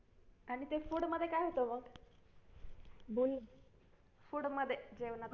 आणि ते food मध्ये काय होतं मग बोल ना food मध्ये जेवणात